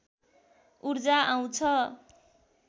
ऊर्जा आउँछ